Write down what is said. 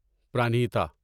Pranhita